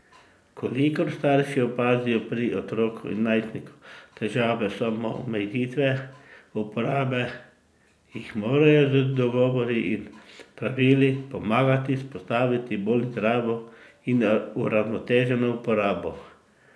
V kolikor starši opazijo pri otroku ali najstniku težavo samoomejitve uporabe, jim morajo z dogovori in pravili pomagati vzpostaviti bolj zdravo in uravnoteženo uporabo.